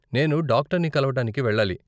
నేను డాక్టర్ని కలవటానికి వెళ్ళాలి.